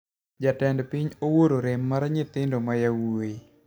Jatend piny owuoro rem mar nyithindo ma yawoi